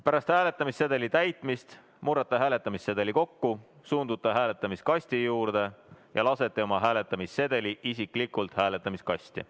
Pärast hääletamissedeli täitmist murrate sedeli kokku, suundute hääletamiskasti juurde ja lasete oma hääletamissedeli isiklikult hääletamiskasti.